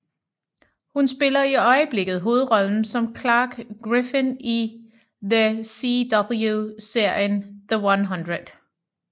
Hun spiller i øjeblikket hovedrollen som Clarke Griffin i The CW serien The 100